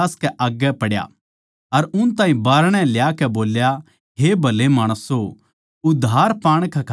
अर उन ताहीं बाहरणै ल्याकै बोल्या हे भले माणसों उद्धार पाण कै खात्तर मै के करूँ